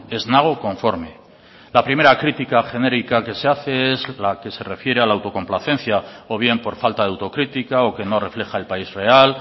ez nago konforme la primera critica genérica que se hace es la que se refiere a la autocomplacencia o bien por falta de autocrítica o que no refleja el país real